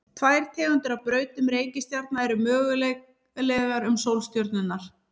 tvær tegundir af brautum reikistjarna eru mögulegar um sólstjörnurnar